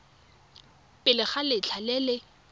pele ga letlha le le